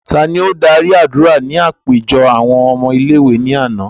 Ta ló dạri adura ní àpéjọ awọn ọmọ ìlé-ìwé làná?